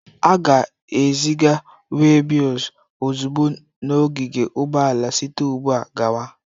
A ga-eziga webils ozugbo na ogige ụgbọala site ugbu a gawa.